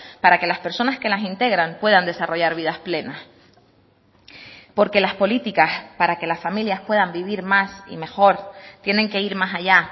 para que las personas que las integran puedan desarrollar vidas plenas porque las políticas para que las familias puedan vivir más y mejor tienen que ir más allá